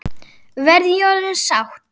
Verð ég orðin sátt?